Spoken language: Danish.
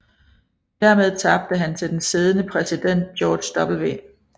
Dermed tabte han til den siddende præsident George W